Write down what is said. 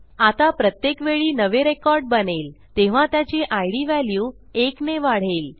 आता प्रत्येक वेळी नवे रेकॉर्ड बनेल तेव्हा त्याची इद valueएकने वाढेल